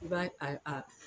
I b'a a a